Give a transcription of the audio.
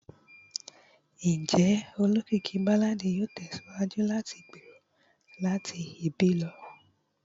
Njẹ olokiki ti balladi yoo tẹsiwaju lati gbero lati ibi lọ?